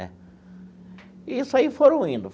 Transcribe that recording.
Né e isso aí foram indo.